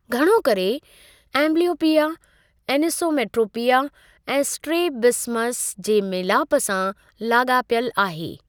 घणो करे, amblyopia, anisometropia ऐं स्ट्रैबिस्मस जे मेलापु सां लागा॒पियलु आहे।